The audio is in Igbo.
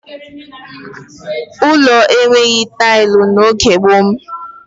Ụlọ enweghị tailụ n'oge gboo m